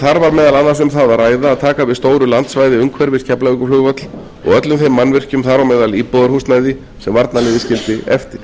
þar var meðal annars um það að ræða að taka við stóru landsvæði umhverfis keflavíkurflugvöll og öllum þeim mannvirkjum þar á meðal íbúðarhúsnæði sem varnarliðið skildi eftir